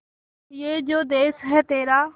ये जो देस है तेरा